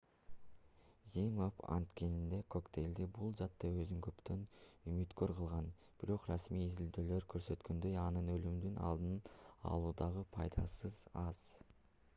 zmapp антидене коктейли бул жаатта өзүн көптөн үмүткөр кылган бирок расмий изилдөөлөр көрсөткөндөй анын өлүмдү алдын алуудагы пайдасы аз